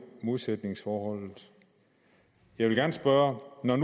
modsætningsforholdet jeg vil gerne spørge når